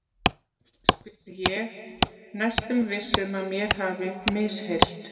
spyr ég, næstum viss um mér hafi misheyrst.